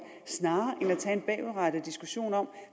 snarere end at tage en bagudrettet diskussion om